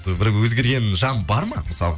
бір өзгерген жан бар ма мысалғы